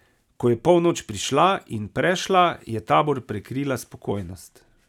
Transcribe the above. Ko je polnoč prišla in prešla, je tabor prekrila spokojnost.